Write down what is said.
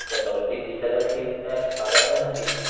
जर डॉल्फिन दिसत असतील तर बघायला तर नक्कीच येईल,